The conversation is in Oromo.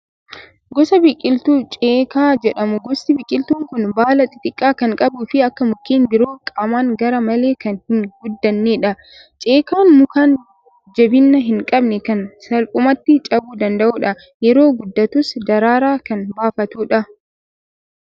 Gosa biqiltuu ceekaa jedhamu. Gosti biqiltuu kun baala xixiqqaa kan qabuu fi akka mukeen biroo qaamaan gar-malee kan hin guddannedha. Ceekaan muka jabina hin qabne kan salphumatti cabuu danda'udha. Yeroo guddatus daraaraa kan baafatudha.